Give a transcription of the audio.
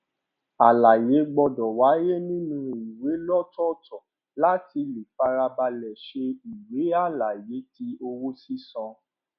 àlàyé gbọdọ wáyé nínú ìwé lọtọọtọ láti lè farabalẹ ṣe ìwé àlàyé ti owó sísan